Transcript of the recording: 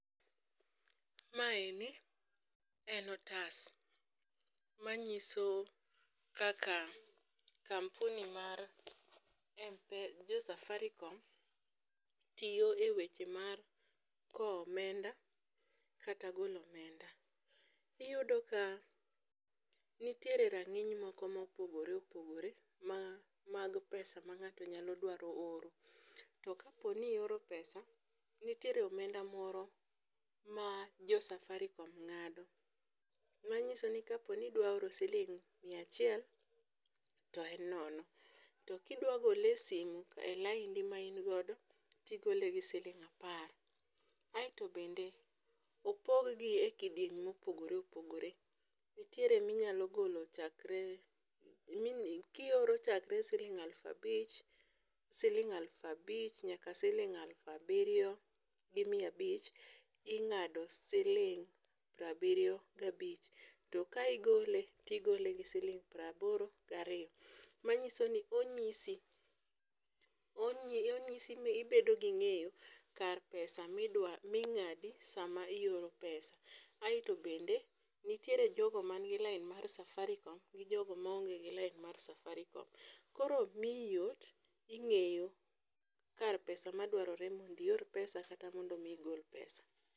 Mae en otas ma ngiso kaka kampuni mar jo safaricom tiyo e weche mag kowo omenda kata golo omenda. Iyudo ka nitiere ga rang'iny moko ma opogore opogore ma mag pesa ma ng'ato nyalo dwaro oro. To ka po ni ioro pesa , nitiere omenda moko ma jo safaricom ng'ado ma ng'iso ka po ni idwa oro siling' mia achiel to en nono to ka idwa gole e simo e laindi am in go to igole gi siling apar aito bende opog gi e kidienje ma opogore opogore. Nitiere mi inyalo golo chakre ki ioro chakre siling aluf abich siling abich nyaka siling aluf abirio gi mia abich ing'ado siling piero abirio ga abich to ki igole gi siling piero aboro ga ariyo. Ma ng'iso ni onyisi ni ibedo gi ng'eyo kar pesa ma ingado saa ma ioro pesa aito bende nitiere jo go man gi lain mar safaricom to nitiere jo go ma onge lain mar safaricom. Koro miyi yot ing'eyo kar pesa ma dwarore mondo mi ior pesa kata mondo igol pesa.